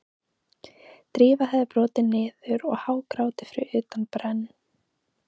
Drífa hafði brotnað niður og hágrátið fyrir utan brenn